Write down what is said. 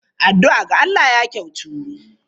Addu'a ga Allah ya kyautu.